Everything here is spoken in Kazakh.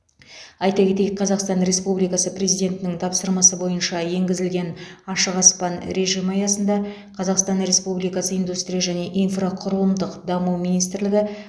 айта кетейік қазақстан республикасы президентінің тапсырмасы бойынша енгізілген ашық аспан режимі аясында қазақстан республикасы индустрия және инфрақұрылымдық даму министрлігі